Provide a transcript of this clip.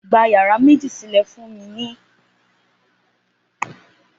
Gba yàrá méjì sílè̩ fún mi ní ilé ìsimi Ìlàjì!